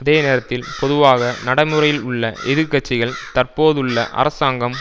அதே நேரத்தில் பொதுவாக நடைமுறையில் உள்ள எதிர் கட்சிகள் தற்போதுள்ள அரசாங்கம்